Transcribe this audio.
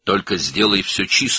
Sadəcə hər şeyi təmiz et.